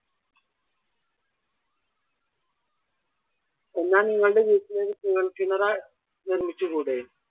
എന്നാൽ നിങ്ങളുടെ വീട്ടിലൊരു കുഴൽ കിണറ് നിർമ്മിച്ചുകൂടെ?